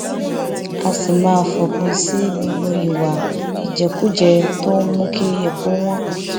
á sì máa fòpin sí gbogbo ìwà ìjẹkújẹ tó ń mú kí epo wọn